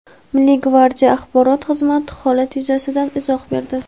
Milliy gvardiya Axborot xizmati holat yuzasidan izoh berdi.